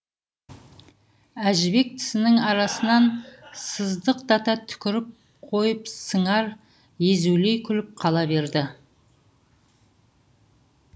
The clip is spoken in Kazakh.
әжібек тісінің арасынан сыздықтата түкіріп қойып сыңар езулей күліп қала берді